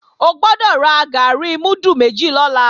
O gbọ́dọ̀ ra gàárì múdù méjì lọ́la